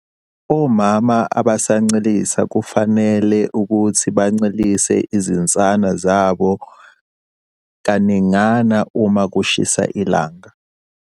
Omama abasancelisa kufanele ukuthi bancelise izinsana zabo kaningana uma kushisa kakhulu.